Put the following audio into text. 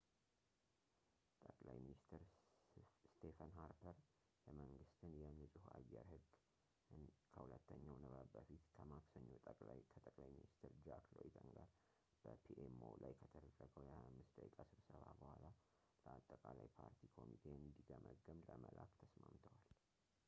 ጠቅላይ ሚኒስትር ስቴፈን ሃርፐር የመንግስትን የ ንፁህ አየር ሕግ”ን ከሁለተኛው ንባብ በፊት ከማክሰኞው ከጠቅላይ ሚንስትር ጃክ ሎይተን ጋር በpmo ላይ ከተደረገው የ25 ደቂቃ ስብሰባ በኋላ ለአጠቃላይ ፓርቲ ኮሚቴ እንዲገመገም ለመላክ ተስማምተዋል